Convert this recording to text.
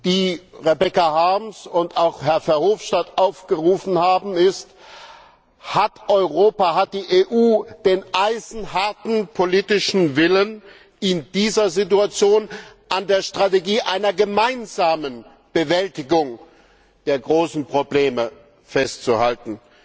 die Rebecca Harms und auch Herr Verhofstadt aufgeworfen haben, ist Hat Europa, hat die EU den eisenharten politischen Willen, in dieser Situation an der Strategie einer gemeinsamen Bewältigung der großen Probleme festzuhalten?